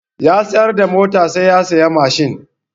Ya sayar da motar sa ya saya mashin.